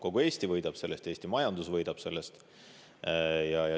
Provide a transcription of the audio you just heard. Kogu Eesti võidab sellest, Eesti majandus võidab sellest.